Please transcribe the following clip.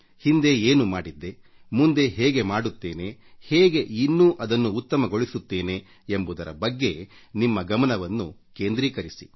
ಹಿಂದೆ ಏನು ಮಾಡಿದ್ದೆ ಮುಂದೆ ಹೇಗೆ ಮಾಡುತ್ತೇನೆ ಹೇಗೆ ಇನ್ನೂ ಅದನ್ನು ಉತ್ತಮಗೊಳಿಸುತ್ತೇನೆ ಎಂಬುದರ ಬಗ್ಗೆ ನಿಮ್ಮ ಗಮನವನ್ನು ಕೇಂದ್ರೀಕರಿಸಿ